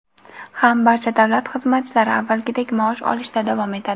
ham barcha davlat xizmatchilari avvalgidek maosh olishda davom etadi..